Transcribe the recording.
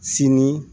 Sini